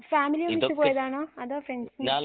family ഒന്നിച്ച് പോയതാണോ അതോ ഫ്രണ്ട്‌സ്